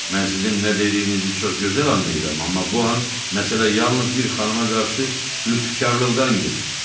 Mən sizin nə dediyinizi çox gözəl anlayıram, amma bu an məsələ yalnız bir xanıma qarşı lütfkarlıqdan gedir.